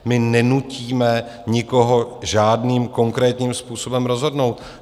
My nenutíme nikoho žádným konkrétním způsobem rozhodnout.